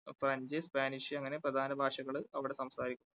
French, Spanish അങ്ങനെ പ്രധാന ഭാഷകള് അവിടെ സംസാരിക്കും.